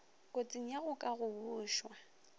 kotsing ya go ka gobošwa